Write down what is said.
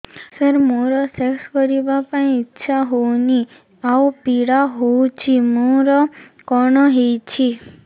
ସାର ମୋର ସେକ୍ସ କରିବା ପାଇଁ ଇଚ୍ଛା ହଉନି ଆଉ ପୀଡା ହଉଚି ମୋର କଣ ହେଇଛି